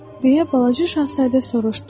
Deyə balaca şahzadə soruşdu.